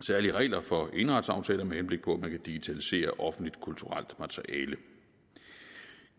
særlige regler for eneretsaftaler med henblik på at man kan digitalisere offentligt kulturelt materiale